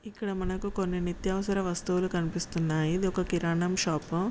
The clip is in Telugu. ఇక్కడ మనకి కొన్ని నిత్యావసర వస్తువులు కనిపిస్తున్నాయి. ఇది ఒక కిరాణా షాపు.